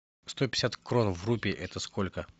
сто пятьдесят крон в рупий это сколько